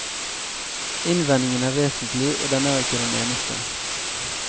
Innvendingen er vesentlig, og den er ikke den eneste.